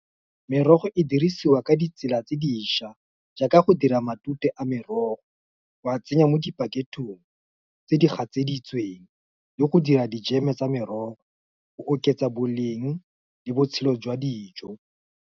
Merogo e dirisiwa ka ditsela tse diša, jaaka go dira matute a merogo, wa tsenya mo dipaketong, tse di gatseditsweng le go dira dijeme tsa merogo, go oketsa boleng, le botshelo jwa dijo.